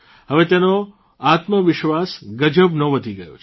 હવે તેનો આત્મવિશ્વાસ ગજબનો વધી ગયો છે